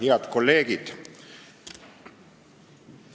Head kolleegid!